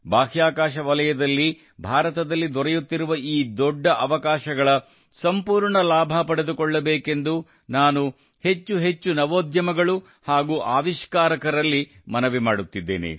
ಬಾಹ್ಯಾಕಾಶ ವಲಯದಲ್ಲಿ ಭಾರತದಲ್ಲಿ ದೊರೆಯುತ್ತಿರುವ ಈ ದೊಡ್ಡ ಅವಕಾಶಗಳ ಸಂಪೂರ್ಣ ಲಾಭ ಪಡೆದುಕೊಳ್ಳಬೇಕೆಂದು ನಾನು ಹೆಚ್ಚು ಹೆಚ್ಚು ನವೋದ್ಯಮಗಳು ಹಾಗೂ ಆವಿಷ್ಕಾರಕರಲ್ಲಿ ಮನವಿ ಮಾಡುತ್ತಿದ್ದೇನೆ